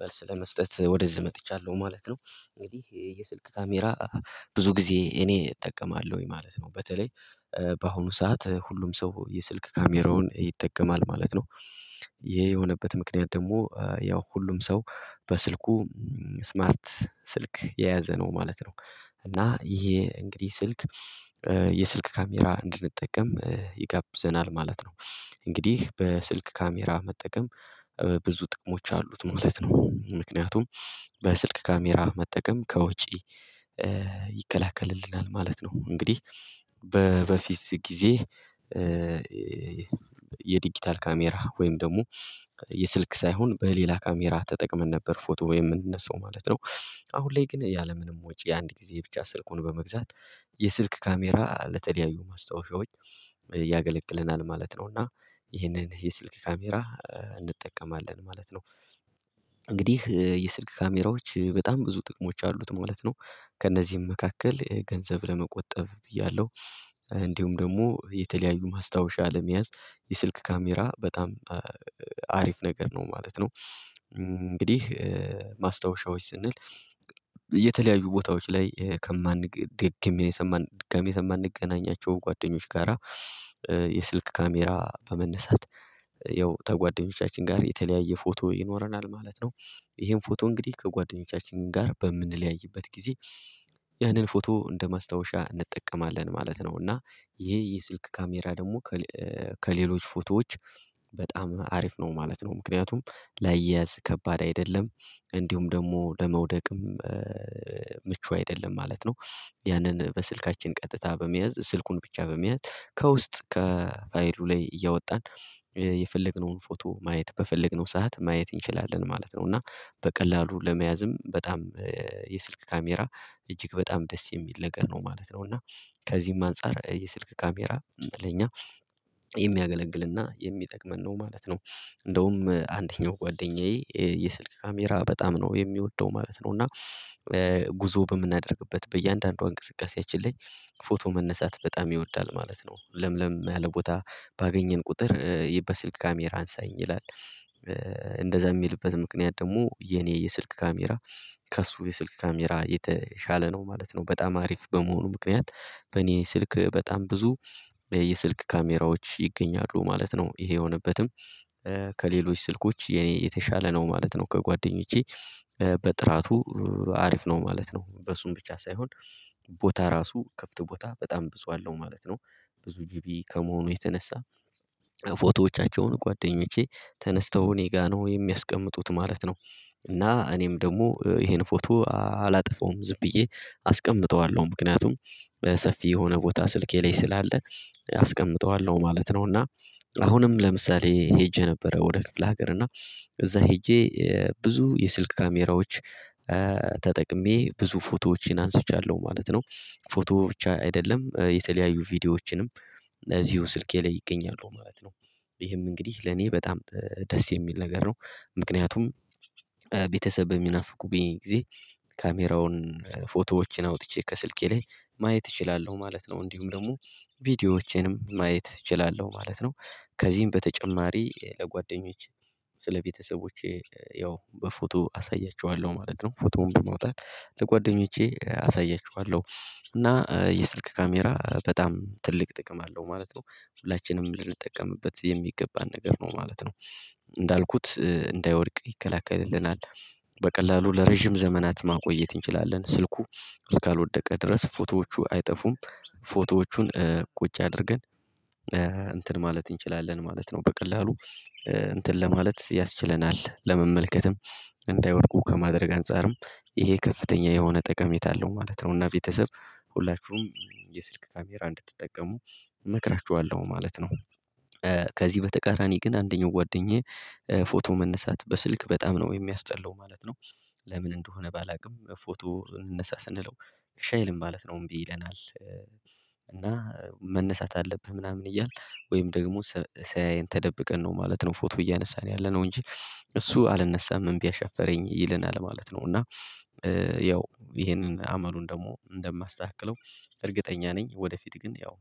መልስ ለመስጠት ወደዚህ መጥቻለሁ ማለት ነው። እንግዲህ የየስልክ ካሜራ ብዙ ጊዜ እኔ እጠቀማለሁ ማለት ነው። በተለይ በአሁኑ ሰዓት ሁሉም ሰው የስልክ ካሜራውን ይጠቀማል ማለት ነው። ይሄ የሆነበት ምክንያት ደግሞ ያው ሁሉም ሰው በስልኩ ስማርት ስልክ የያዘ ነው ማለት ነው። እና ይሄ እንግዲህ ስልክ የስልክ ካሜራ እንድንጠቀም ይጋብዘናል ማለት ነው። እንግዲህ በስልክ ካሜራ መጠቀም ብዙ ጥቅሞች አሉት ማለት ነው። ምክንያቱም በስልክ ካሜራ መጠቀም ከወጪ ይከላከልልናል ማለት ነው። እንግዲህ በበፊት ጊዜ የዲጂታል ካሜራ ወይም ደግሞ የስልክ ሳይሆን በሌላ ካሜራ ተጠቅመን ነበር ፎቶ የምንነሳው ማለት ነው። አሁን ላይ ግን ያለምንም ወጪ አንድ ጊዜ ብቻ ስልኩን በመግዛት የስልክ ካሜራ ለተደያዩ ማስታወሻዎች ያገለግለናል ማለት ነው። እና ይሄንን የ ስልክ ካሜራ እንጠቀማለን ማለት ነው። እንግዲህ የስልክ ካሜራዎች በጣም ብዙ ጥቅሞች አሉት ማለት ነው። ከእነዚህም መካከል ገንዘብ ለመቆጠብ ብያለሁ እንዲሁም ደግሞ የተለያዩ ማስታወሻ ለመያዝ የስልክ ካሜራ በጣም አሪፍ ነገር ነው ማለት ነው። እንግዲህ ማስታወሻዎች ስንል የተለያዩ ቦታዎች ላይ ከማንገኝ የሰማን ድጋሜ ከማንገናኛቸው ጓደኞች ጋራ የስልክ ካሜራ በመነሳት ያው ከጓደኞቻችን ጋር የተለያየ ፎቶ ይኖረናል ማለት ነው። ይሄን ፎቶ እንግዲህ ከጓደኞቻችን ጋር በምንለያይበት ጊዜ ያንን ፎቶ እንደማስታወሻ እንጠቀማለን ማለት ነው። እና ይሄ የስልክ ካሜራ ደግሞ ከሌሎች ፎቶዎች በጣም አሪፍ ነው ማለት ነው ምክንያቱም ለአያያዝ ከባድ አይደለም እንዲሁም ደግሞ ለመውደቅም ምቹ አይደለም ማለት ነው። ያንን በስልካችን ቀጥታ በመያዝ ስልኩን ብቻ በመያዝ ከውስጥ ከፋይሉ ላይ እያወጣን የፈለግነውን ፎቶ ማየት በፈለግነው ሰዓት ማየት እንችላለን ማለት ነው። እና በቀላሉ ለመያዝም በጣም የስልክ ካሜራ እጅግ በጣም ደስ የሚል ነገር ነው ማለት ነው። እና ከዚህም አንፃር የስልክ ካሜራ ለኛ የሚያገለግልና የሚጠቅመን ነው ማለት ነው። እንደውም አንደኛው ጓደኛዬ የስልክ ካሜራ በጣም ነው የሚወደው ማለት ነው እና ጉዞ በምናደርግበት በእያንዳንዷ እንቅስቃሴያችን ላይ ፎቶ መነሳት በጣም ይወዳል ማለት ነው። ለምለም ያለ ቦታ ባገኘን ቁጥር የበስልክ ካሜራ አንሳኝ ይላል። እንደዛ የሚልበት ምክንያት ደግሞ የኔ የስልክ ካሜራ ከእሱ የስልክ ካሜራ የተሻለ ነው ማለት ነው። በጣም አሪፍ በመሆኑ ምክንያት በኔ ስልክ በጣም ብዙ የስልክ ካሜራዎች ይገኛሉ ማለት ነው። ይሄ የሆነበትም ከሌሎች ስልኮች የኔ የተሻለ ነው ማለት ነው ከጓደኞቼ በጥራቱ አሪፍ ነው ማለት ነው። በእሱም ብቻ ሳይሆን ቦታ ራሱ ክፍት ቦታ በጣም ብዙ አለው ማለት ነው ብዙ ጂቢ ከመሆኑ የተነሳ ፎቶዎቻቸውን ጓደኞቼ ተነስተው እኔ ጋር ነው የሚያስቀምጡት ማለት ነው። እና እኔም ደግሞ ይሄን ፎቶ አላጠፋውም ዝም ብዬ አስቀምጠዋለሁ ምክንያቱም በሰፊ የሆነ ቦታ ስልኬ ላይ ስላለ አስቀምጠዋለሁ ማለት ነው። እና አሁንም ለምሳሌ ሄጄ ነበር ወደ ክፍለ ሀገር እና እዛ ሄጄ ብዙ የስልክ ካሜራዎች ተጠቅሜ ብዙ ፎቶዎችን አንስቻለሁ ማለት ነው። ፎቶ ብቻ አይደለም የተለያዩ ቪዲዮዎችንም እዚሁ ስልኬ ላይ ይገኛሉ ማለት ነው። ይሄም እንግዲህ ለኔ በጣም ደስ የሚል ነገር ነው ምክንያቱም ቤተሰብ በሚናፍቁብኝ ጊዜ ካሜራውን ፎቶዎችን አውጥቼ ከስልኬ ላይ ማየት እችላለሁ ማለት ነው። እንዲሁም ደግሞ ቪዲዮዎቼንም ማየት እችላለሁ ማለት ነው። ከዚህም በተጨማሪ ለጓደኞቼ ስለቤተሰቦቼ ያው በፎቶ አሳያቸዋለሁ ማለት ነው ፎቶውን በማውጣት ለጓደኞቼ አሳያቸዋለሁ እና የስልክ ካሜራ በጣም ትልቅ ጥቅም አለው ማለት ነው። ሁላችንም ልንጠቀምበት የሚገባን ነገር ነው ማለት ነው። እንዳልኩት እንዳይወድቅ ይከላከልልናል በቀላሉ ለረጅም ዘመናት ማቆየት እንችላለን ስልኩ እስካልወደቀ ድረስ ፎቶዎቹ አይጠፉም። ፎቶዎቹን ቁጭ አድርገን እንትን ማለት እንችላለን ማለት ነው። በቀላሉ እንትን ለማለት ያስችለናል ለመመልከትም እንዳይወድቁ ከማድረግ አንፃርም ይሄ ከፍተኛ የሆነ ጠቀሜታ አለው ማለት ነው። እና ቤተሰብ ሁላችሁም የስልክ ካሜራ እንድትጠቀሙ እመክራችዋለሁ ማለት ነው። ከዚህ በተቃራኒ ግን አንደኛው ጓደኛዬ ፎቶ መነሳት በስልክ በጣም ነው የሚያስጠላው ማለት ነው። ለምን እንደሆነ ባላውቅም ፎቶ እንነሳ ስንለው እሽ አይልም ማለት ነው እምቢ ይለናል። እና መነሳት አለብህ ምናምን እያልን ወይም ደግሞ ሳያዬን ተደብቀን ነው ማለት ነው ፎቶ እያነሳን ያለነው እንጂ እሱ አልነሳም እምቢ አሻፈረኝ ይለናል ማለት ነው። እና ያው ይሄንን አመሉን ደግሞ እንደማስተካክለው እርግጠኛ ነኝ ወደፊት ግን ያው